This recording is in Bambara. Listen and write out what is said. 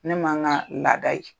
Ne ma ŋaa laada ye.